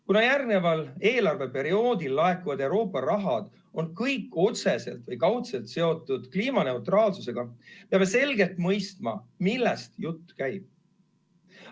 Kuna järgmisel eelarveperioodil laekuv Euroopa raha on kõik otseselt või kaudselt seotud kliimaneutraalsusega, peame selgelt mõistma, millest jutt käib.